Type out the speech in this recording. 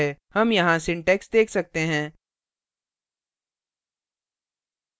हम यहाँ syntax देख सकते हैं